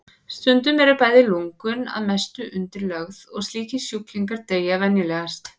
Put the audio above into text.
Stundum eru bæði lungun að mestu undirlögð og slíkir sjúklingar deyja venjulegast.